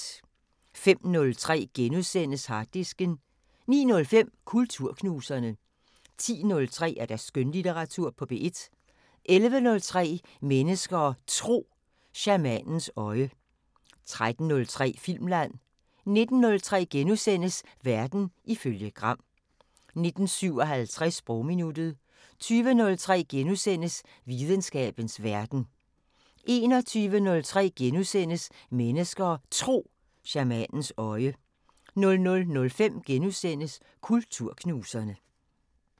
05:03: Harddisken * 09:05: Kulturknuserne 10:03: Skønlitteratur på P1 11:03: Mennesker og Tro: Shamanens øje 13:03: Filmland 19:03: Verden ifølge Gram * 19:57: Sprogminuttet 20:03: Videnskabens Verden * 21:03: Mennesker og Tro: Shamanens øje * 00:05: Kulturknuserne *